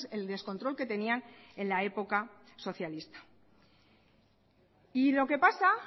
el descontrol que tenían en la época socialista y lo que pasa